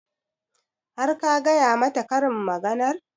Har ka gaya mata karin maganar?